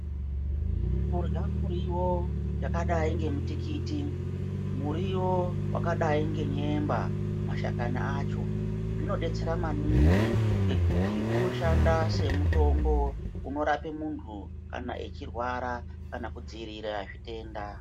Kurya muriwo wakadai nemutikiti muriwo wakadai ngenyemba mashakani acho zvinodetsera maningi ngekuti zvinoshanda semutombo unorapa muntu kana echirwarara kana kudzivirira zvitenda.